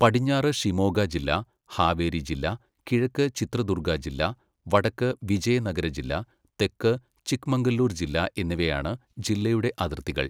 പടിഞ്ഞാറ് ഷിമോഗ ജില്ല, ഹാവേരി ജില്ല, കിഴക്ക് ചിത്രദുർഗ ജില്ല, വടക്ക് വിജയനഗര ജില്ല, തെക്ക് ചിക്മംഗലൂർ ജില്ല എന്നിവയാണ് ജില്ലയുടെ അതിർത്തികൾ.